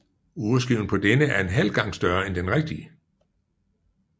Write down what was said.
Urskiven på denne er en halv gange større end den rigtige